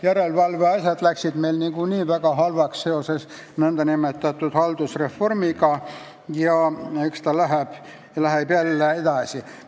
Järelevalve asjad läksid meil nagunii väga korrast ära seoses nn haldusreformiga ja eks see kestab edasi.